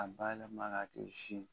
K'a bayɛlɛma ka kɛ sin.